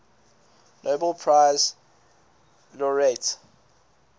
nobel prize laureate